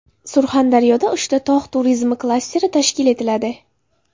Surxondaryoda uchta tog‘ turizmi klasteri tashkil etiladi.